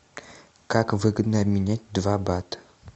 как выгодно обменять два бат